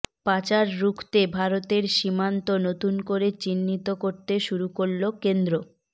পাচার রুখতে ভারতের সীমান্ত নতুন করে চিহ্নিত করতে শুরু করল কেন্দ্র